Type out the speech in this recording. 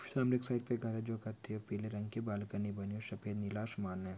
सामने एक साइड पे एक तार है जो कत्थई पीले रंग की बालकनी बनी हुई है सफेद नीला आसमान है।